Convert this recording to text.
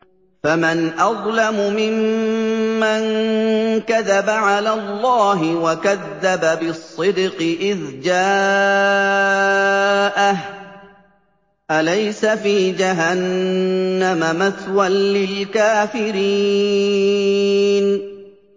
۞ فَمَنْ أَظْلَمُ مِمَّن كَذَبَ عَلَى اللَّهِ وَكَذَّبَ بِالصِّدْقِ إِذْ جَاءَهُ ۚ أَلَيْسَ فِي جَهَنَّمَ مَثْوًى لِّلْكَافِرِينَ